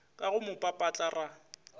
ka go mo papatla ra